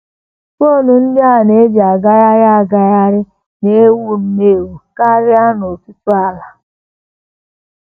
FON ndị a na - eji agagharị agagharị na - ewu nnọọ ewu karị n’ọtụtụ ala.